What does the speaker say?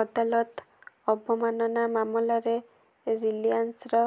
ଅଦାଲତ ଅବମାନନା ମାମଲାରେ ରିଲାଏନ୍ସର